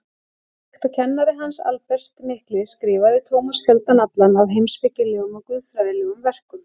Líkt og kennari hans, Albert mikli, skrifaði Tómas fjöldann allan af heimspekilegum og guðfræðilegum verkum.